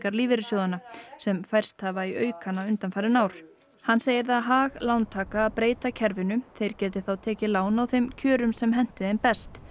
lífeyrissjóðanna sem færst hafa í aukana undanfarin ár hann segir það hag lántaka að breyta kerfinu þeir geti þá tekið lán á þeim kjörum sem henti þeim best